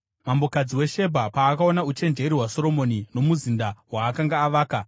Mambokadzi weShebha paakaona uchenjeri hwaSoromoni, nomuzinda waakanga avaka,